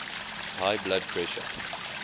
high blood pressure